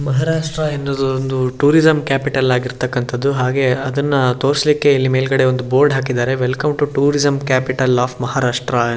ಮಹಾರಾಷ್ಟ್ರ ಎನ್ನುದು ಒಂದು tourism capital ಆಗಿರ್ತಕ್ಕಂತದ್ದು ಹಾಗೆ ಅದನ್ನ ತೋರ್ಸ್ಲಿಕ್ಕೆ ಇಲ್ಲಿ ಮೇಲ್ಗಡೆ ಒಂದ್ ಬೋರ್ಡ್ ಹಾಕಿದ್ದಾರೆ welcome to tourism capital of Maharashtra .